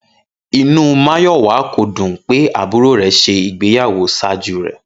Inú Máyọ̀wá kò dùn pé àbúrò rẹ̀ ṣe ìgbéyàwó ṣájú rẹ̀